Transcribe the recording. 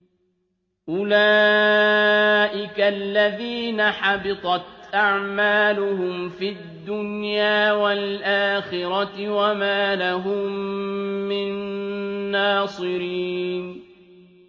أُولَٰئِكَ الَّذِينَ حَبِطَتْ أَعْمَالُهُمْ فِي الدُّنْيَا وَالْآخِرَةِ وَمَا لَهُم مِّن نَّاصِرِينَ